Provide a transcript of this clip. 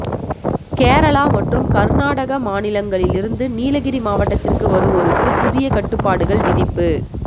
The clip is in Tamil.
கேரளா மற்றும் கர்நாடக மாநிலங்களிலிருந்து நீலகிரி மாவட்டத்திற்கு வருவோருக்கு புதிய கட்டுப்பாடுகள் விதிப்பு